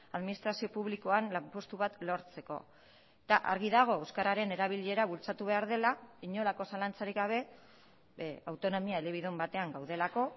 administrazio publikoan lanpostu bat lortzeko eta argi dago euskararen erabilera bultzatu behar dela inolako zalantzarik gabe autonomia elebidun batean gaudelako